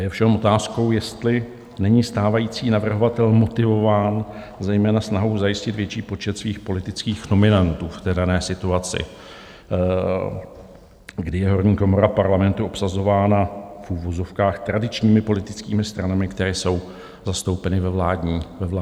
Je ovšem otázkou, jestli není stávající navrhovatel motivován zejména snahou zajistit větší počet svých politických nominantů v té dané situaci, kdy je horní komora Parlamentu obsazována v uvozovkách tradičními politickými stranami, které jsou zastoupeny ve vládní koalici.